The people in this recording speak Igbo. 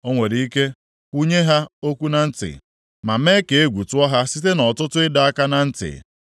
O nwere ike kwunye ha okwu na ntị ma mee ka egwu tụọ ha site nʼọtụtụ ịdọ aka na ntị;